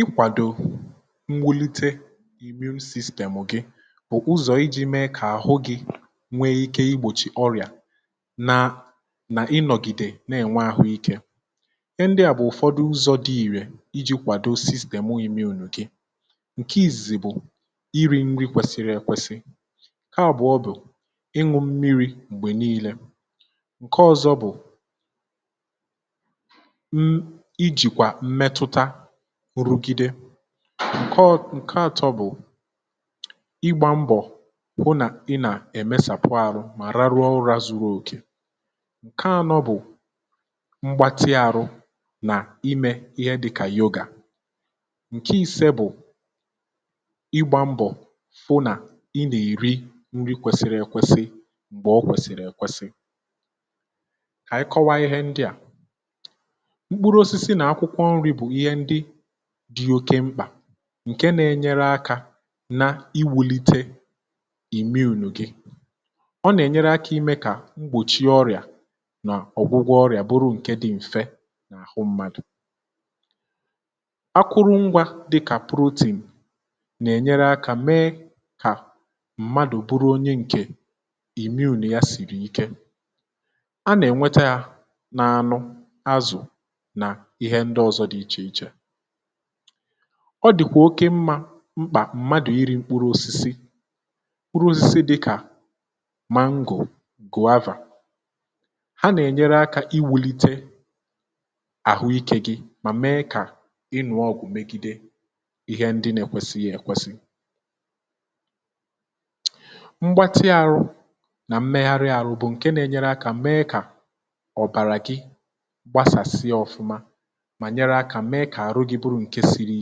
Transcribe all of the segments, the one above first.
ikwàdo mwụlite immune sistemụ̀ gị bụ̀ ụzọ̀ iji̇ mee kà àhụ gị̇ nwee ike igbòchi ọrịà nà nà ịnọ̀gìdè nà-ènwe ahụike, ihe ndị à bụ̀ ụ̀fọdụ ụzọ̇ dị ìrẹ̇ iji̇ kwàdo sistemụ immune gị, ǹke ìzìzì bụ̀ iri̇ nri kwesiri èkwesi ,nke abụ̀ọ bụ̀ ịṅụ mmiri̇ m̀gbè niilė, ǹke ọ̇zọ̇ bụ̀ ijikwa mmetụta rugide ǹke ọ ǹke àtọ bụ̀ ịgbȧ mbọ̀ hụ nà ị nà-èmesàpụ̀ arụ mà raruo ụra zuru òkè, ǹke anọ bụ̀ mgbatị ahụ nà imė ihe dịkà yoga ǹke ise bụ̀ ịgbȧ mbọ̀ fụ nà ị nà-eri nri kwesịrị ekwesị m̀gbè ọ kwèsị̀rị̀ ekwesị kà ànyị kọwaa ihe ndị à, mkpụrụ osisi na akwụkwọ nri bu ihe ndị̇ dị oke mkpà ǹke nȧ-enyere akȧ na iwùlite ìmmune gị ọ nà-ènyere akȧ imė kà mgbòchie ọrịà nà ọ̀gwụgwọ ọrịà bụrụ ǹke dị̇ m̀fe nà-àhụ mmadụ̀ ,akụrụ ngwȧ dịkà protein nà-ènyere akȧ mee kà mmadụ̀ bụrụ onye ǹkè immune ya sìrì ike, anà-ènweta yȧ na anu, azụ̀ na ihe ndị ọzọ dị iche iche,ọ dị̀kwà oke mmȧ mkpà mmadụ̀ iri̇ mkpụrụ osisi mkpụrụ osisi dịkà mango, guava ha nà-ènyere akȧ iwulite àhụikė gị mà mee kà ịlụ̇ ọgụ̀ megide ihe ndị nà-èkwesịghị èkwesị mgbáti ahụ na mmeghari ahụ bu nke na nyere akȧ mee kà arụ gị bụrụ ǹke siri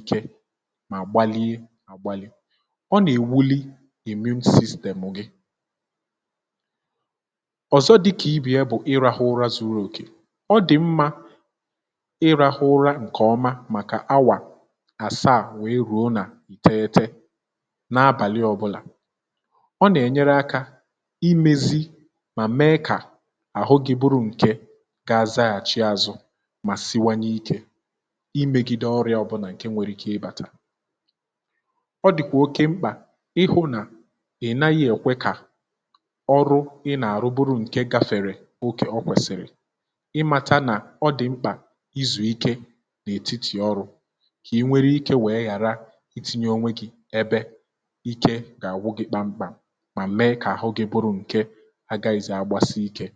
ike ma gbalie àgbalị ọ nà-èwuli immune sistèmu gị, ọ̀zọ dịkà ibè ya bụ̀ ịrahụ̇ ụra zuru òkè ọ dị̀ mmȧ ịrahụ ụra ǹkè ọma màkà awà àsaa wèe rùo nà ìteghite n’abàlị ọbụlà, ọ nà-ènyere akȧ imėzi mà mee kà àhụ gị bụrụ ǹkè ga azaghàchi azụ̇ ma siwanye ike imėgide ọrịȧ ọbụlà ǹke nwere ikė ịbàtà, ọ dị̀kwà oke mkpà ị hụ̇ nà ị naghị èkwe kà ọrụ ị nà-àrụ bụrụ ǹke gafèrè oke ọ kwèsị̀rị̀ ị màta nà ọ dị̀ mkpà izù ike n’ètitì ọrụ̇ kà ị nwere ike wèe ghàra iti̇nye onwe gi̇ ebe ike gà-àgwụ gị̇ kpam kpàm mà mee kà àhụ gị bụrụ ǹke agaghị̇zị agbasi ike